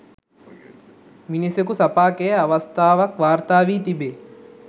මිනිසකු සපා කෑ අවස්ථාවක් වාර්තා වී තිබේ.